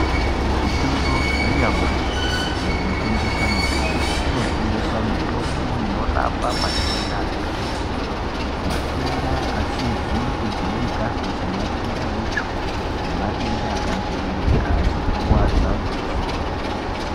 Muzvitoro zvanyamashi zvinotengesa mitombo kunotengeswa mitombo inorapa matenda akati kuti, matenda asizi kujairikapi sematenda eitsvo nematenda akajairika sekurwadza kwemusoro.